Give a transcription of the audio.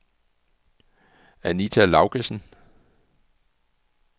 Anita Laugesen